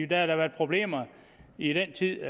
da været problemer i al den tid